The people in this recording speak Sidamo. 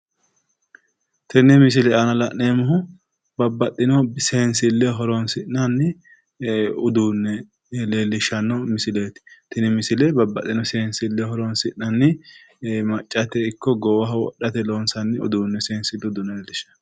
Tenne misile aana la'neemmohu babbaxino seensilleho horoonsi'nanni uduunne leellishshanno misileeti. tini misile babbaxino seensilleho horoonsi'nanni maccate ikko goowaho wodhate loonsanni uduunneeti. kuni uduunni seensete uduunne leellishshanno.